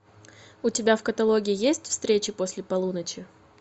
у тебя в каталоге есть встреча после полуночи